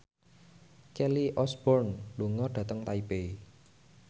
Kelly Osbourne lunga dhateng Taipei